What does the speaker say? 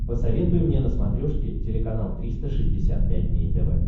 посоветуй мне на смотрешке телеканал триста шестьдесят пять дней тв